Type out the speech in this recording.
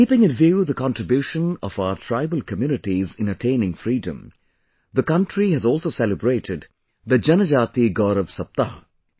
keeping in view the contribution of our tribal communities in attaining Freedom, the country has also celebrated the 'Janajati Gaurav Saptah'